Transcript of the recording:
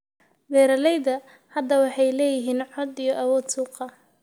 Beeralayda hadda waxay leeyihiin cod iyo awood suuqa.